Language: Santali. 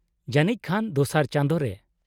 -ᱡᱟᱱᱤᱡ ᱠᱷᱟᱱ ᱫᱚᱥᱟᱨ ᱪᱟᱸᱫᱳ ᱨᱮ ᱾